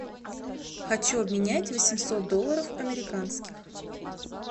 хочу обменять восемьсот долларов американских